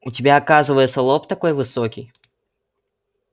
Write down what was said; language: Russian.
у тебя оказывается лоб такой высокий